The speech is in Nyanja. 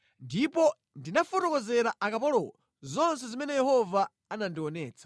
Ndipo ndinafotokozera akapolowo zonse zimene Yehova anandionetsa.